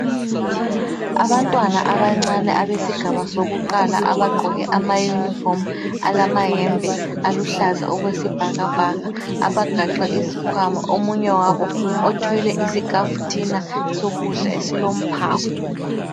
Abantwana abancane abesigaba sokuqala abagqoke amayunifomu alamahembe aluhlaza okwesibhakabhaka abagaxe isikhwama. Omunye wabo othwele isikhafuthina esilokudla esilomphako